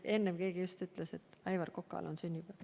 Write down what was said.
Enne just keegi ütles, et Aivar Kokal on sünnipäev.